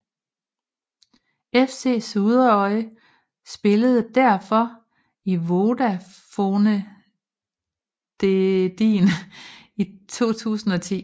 FC Suðuroy spillede derfor i Vodafonedeildin i 2010